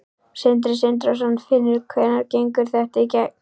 Sindri Sindrason: Finnur hvenær gengur þetta í gegn?